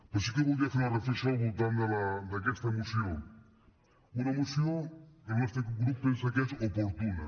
però sí que voldria fer una reflexió al voltant d’aquesta moció una moció que el nostre grup pensa que és oportuna